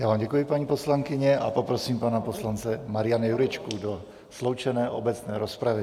Já vám děkuji, paní poslankyně, a poprosím pana poslance Mariana Jurečku do sloučené obecné rozpravy.